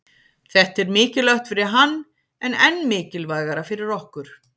Þetta er mikilvægt fyrir hann en enn mikilvægara fyrir okkur